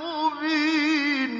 مُّبِينٍ